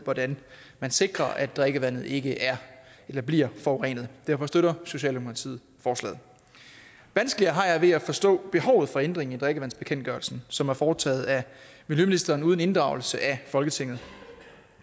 hvordan man sikrer at drikkevandet ikke er eller bliver forurenet derfor støtter socialdemokratiet forslaget vanskeligere har jeg ved at forstå behovet for ændringen i drikkevandsbekendtgørelsen som er foretaget af miljøministeren uden inddragelse af folketinget